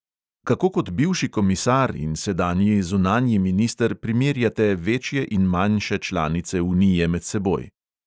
Kako kot bivši komisar in sedanji zunanji minister primerjate večje in manjše članice unije med seboj?